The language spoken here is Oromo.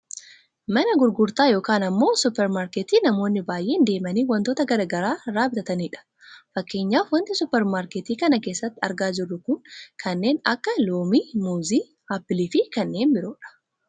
Mana gurgurtaa yookaan ammoo supeer maarkettii namoonni baayyeen deemanii wantoota gara garaa irraa bitatanidha. Fakkeenyaaf wanti super maarkettii kana keessatti argaa jirru kun kanneen akka loomii, muuzii, aapiliifi kanneen biroodha.